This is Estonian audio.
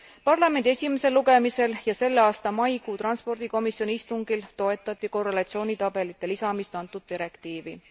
Parlamendi esimesel lugemisel ja selle aasta maikuu transpordikomisjoni istungil toetati korrelatsioonitabelite lisamist antud direktiivi.